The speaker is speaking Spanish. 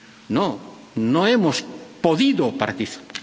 No, no hemos podido participar.